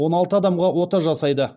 он алты адамға ота жасайды